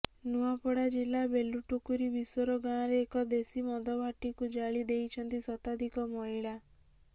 ନୂଆପଡ଼ା ଜିଲ୍ଲା ବେଲଟୁକୁରି ବିଶୋରା ଗଁାର ଏକ ଦେଶୀ ମଦଭାଟିକୁ ଜାଳି ଦେଇଛନ୍ତି ଶତାଧିକ ମହିଳା